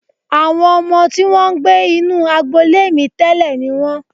Àwọn ọmọ tí wọ́n ń gbé inú agbolé mi tẹ́lẹ̀ ni wọ́n